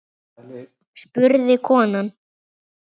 spurði konan.